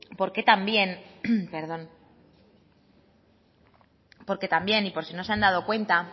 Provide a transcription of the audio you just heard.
porque también y por si no se han dado cuenta